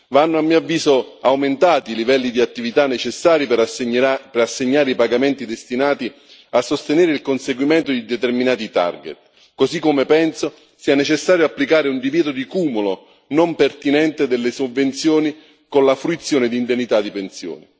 Vanno, a mio avviso, aumentati i livelli di attività necessari per assegnare i pagamenti destinati a sostenere il conseguimento di determinati target, così come penso sia necessario applicare un divieto di cumulo non pertinente delle sovvenzioni con la fruizione di indennità di pensioni.